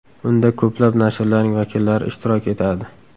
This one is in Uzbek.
Unda ko‘plab nashrlarning vakillari ishtirok etadi.